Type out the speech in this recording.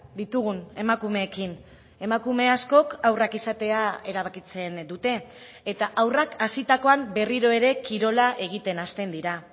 ditugun emakumeekin emakume askok haurrak izatea erabakitzen dute eta haurrak hazitakoan berriro ere kirola egiten hasten dira